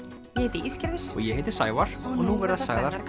heiti Ísgerður og ég heiti Sævar og nú verða sagðar